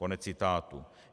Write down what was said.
Konec citátu.